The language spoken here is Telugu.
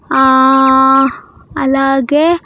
ఆ అలాగే.